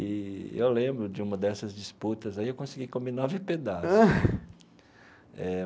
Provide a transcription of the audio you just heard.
E eu lembro de uma dessas disputas, aí eu consegui comer nove pedaços.